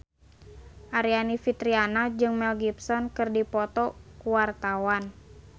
Aryani Fitriana jeung Mel Gibson keur dipoto ku wartawan